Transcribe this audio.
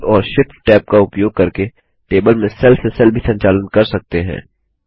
Tab और ShiftTab का उपयोग करके टेबल में सेल से सेल भी संचालन कर सकते हैं